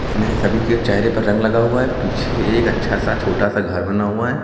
जिसमें से सभी के चेहरे पर रंग लगा हुआ है। पीछे एक अच्छा सा छोटा सा घर बना हुआ है।